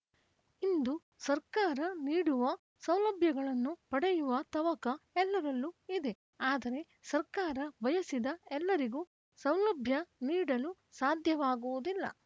ಇಂದು ಸರ್ಕಾರ ನೀಡುವ ಸೌಲಭ್ಯಗಳನ್ನು ಪಡೆಯುವ ತವಕ ಎಲ್ಲರಲ್ಲೂ ಇದೆ ಆದರೆ ಸರ್ಕಾರ ಬಯಸಿದ ಎಲ್ಲರಿಗೂ ಸೌಲಭ್ಯ ನೀಡಲು ಸಾಧ್ಯವಾಗುವುದಿಲ್ಲ